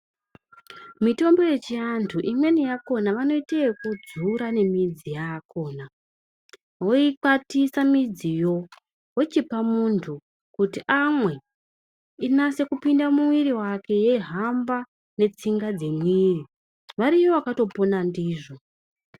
Mitombo yechivantu imweni yakona vanoita yekudzura nemidzi yakona voikwatisa midziyo vochipa muntu kuti amwe inyase kupinda mumwiri make yeihamba netsinga dzemwiri variyo vakatopona ndizvo.